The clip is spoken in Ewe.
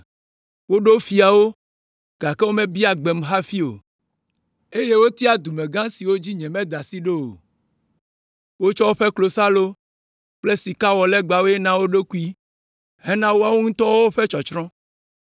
Woɖo fiawo, gake womebia gbem hafi o, eye wotia dumegã siwo dzi nyemeda asi ɖo o. Wotsɔ woƒe klosalo kple sika wɔ legbawoe na wo ɖokui hena woawo ŋutɔ ƒe tsɔtsrɔ̃.